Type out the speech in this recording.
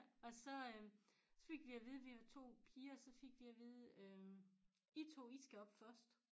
Og så øh så fik vi at vide vi var 2 piger så fik de at vide øh I to I skal op først